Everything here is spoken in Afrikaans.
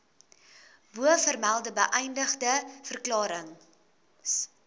bovermelde beëdigde verklarings